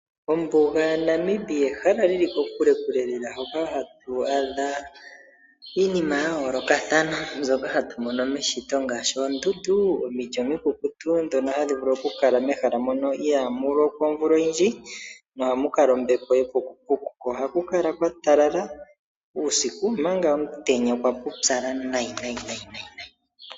Ombuga yaNamib ehala li li kokulekule lela hoka hatu adha iinima ya yoolokathana mbyoka hatu mono meshito ngaashi oondundu, omiti omikukutu ndhono hadhi vulu okukala mehala mokno ihaamu lokwa omvula oyindji mo ohamu kala ombepo yepukupuku. Ohaku kala kwa talala uusiku ko uusiku okwa pupyala nayi nayi.